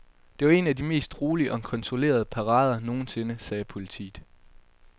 Det var en af de mest rolige og kontrollerede parader nogensinde, sagde politiet.